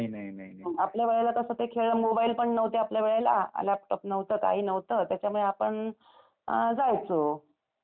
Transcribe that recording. आपल्या वेळेला तसं ते खेळ, मोबाईल पण नव्हते आपल्या वेळेला. लॅपटॉप नव्हता, काही नव्हत. त्याच्यामुळे आपण अम, जायचो. मस्त पैकी.